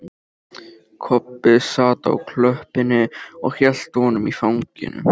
Kobbi sat á klöppinni og hélt á honum í fanginu.